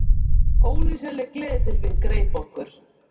Ólýsanleg gleðitilfinning greip okkur.